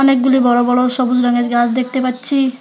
অনেকগুলি বড় বড় সবুজ রঙের গাছ দেখতে পাচ্ছি।